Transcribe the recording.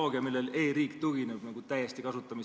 Öelge, mida te selle olukorra normaliseerimiseks plaanite teha!